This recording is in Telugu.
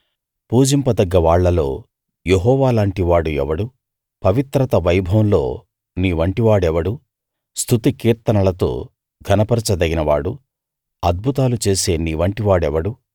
పూజింపదగ్గ వాళ్ళలో యెహోవాలాంటివాడు ఎవడు పవిత్రత వైభవంలో నీ వంటి వాడెవడు స్తుతికీర్తనలతో ఘనపరచదగిన వాడు అద్భుతాలు చేసే నీవంటి వాడెవడు